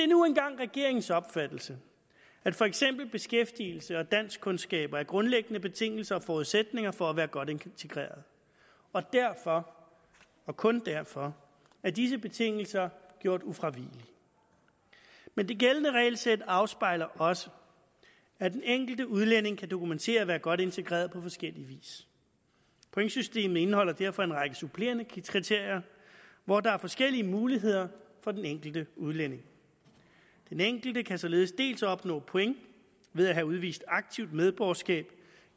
nu engang regeringens opfattelse at for eksempel beskæftigelse og danskkundskaber er grundlæggende betingelser og forudsætninger for at være godt integreret og derfor og kun derfor er disse betingelser gjort ufravigelige men det gældende regelsæt afspejler også at den enkelte udlænding kan dokumentere at være godt integreret på forskellig vis pointsystemet indeholder derfor en række supplerende kriterier hvor der er forskellige muligheder for den enkelte udlænding den enkelte kan således opnå point ved at have udvist aktivt medborgerskab